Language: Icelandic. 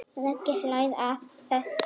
Raggi hlær að þessu.